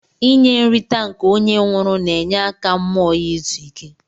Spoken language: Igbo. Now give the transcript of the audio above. Inye nrita nke onye nwụrụ na enye aka mụọ ya izụ ike.